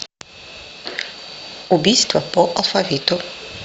убийство по алфавиту